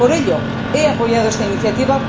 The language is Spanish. Por ello, he apoyado esta iniciativa.